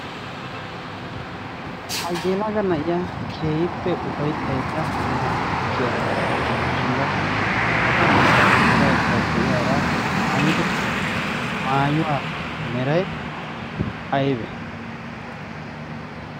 ha yelaga nayiyaa keehippe ufayttada naa''u kushiya bolla olada duraydda diyaara maayido maayuwa meray aybbe?